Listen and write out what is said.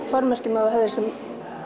formerkjum að hafa sem